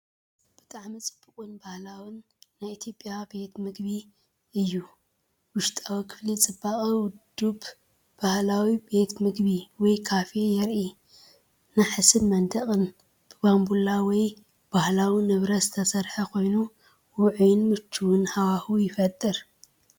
ብጣዕሚ ጽብቕትን ባህላዊትን ናይ ኢትዮጵያ ቤት መግቢ እያ! ውሽጣዊ ክፍሊ ጽቡቕ ውዱብ ባህላዊ ቤት መግቢ ወይ ካፌ የርኢ። ናሕስን መንደቕን ብባምቡላ ወይ ባህላዊ ንብረት ዝተሰርሐ ኮይኑ፡ ውዑይን ምቹእን ሃዋህው ይፈጥር።